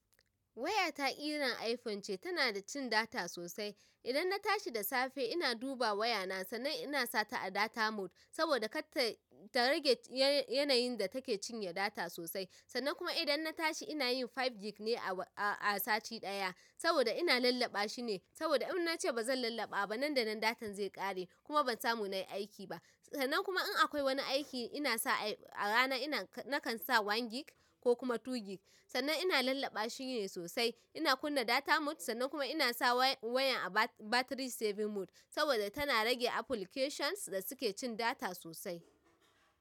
Wayata ƙiran iPhone ce, tana da cin data sosai. Idan na tashi da safe ina duba wayana, sannan ina sa ta a data mode, saboda kar ta. Ta rage yanayin da take cinye data sosai. Sannan kuma idan na tashi ina yin biyar GB ne a sati ɗaya saboda ina lallaba shi ne. Saboda in na ce ba zan lallaɓa ba nan da nan datan zai ƙare kuma ban samu nayi aiki ba. Sannan kuma in akwai wani aiki ina sa a rana ina nakan sa ɗaya GB ko kuma biyu GB. Sannan ina lallaɓa shi ne sosai. Ina kunna data mode sannan kuma ina sa wayan a battery saving mode saboda tana rage applications da suke cin data sosai.